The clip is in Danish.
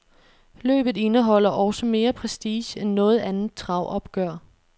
Løbet indeholder også mere prestige end noget andet travopgør.